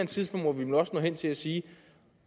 tidspunkt må vi vel også nå hen til at sige at